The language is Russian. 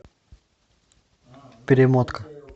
перемотка